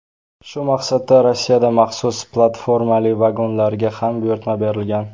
Shu maqsadda Rossiyada maxsus platformali vagonlarga ham buyurtma berilgan.